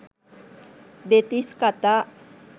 දෙතිස් කතා.